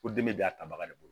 Ko den de y'a tabaga de bolo